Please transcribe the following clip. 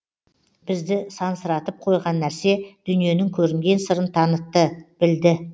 бізді сансыратып қойған нәрсе дүниенің көрінген сырын танытты білді